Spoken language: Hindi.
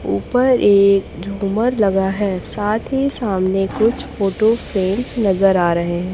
ऊपर एक झुमर लगा है साथ ही सामने कुछ फोटो फ्रेम्स नजर आ रहे हैं।